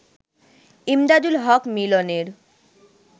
ইমদাদুল হক মিলনের